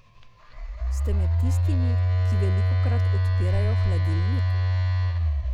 Ste med tistimi, ki velikokrat odpirajo hladilnik?